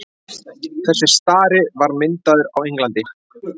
þessi stari var myndaður á englandi